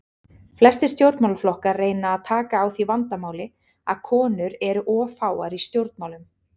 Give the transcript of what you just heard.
Flestir stjórnmálaflokkar reyna að taka á því vandamáli að konur eru of fáar í stjórnmálum.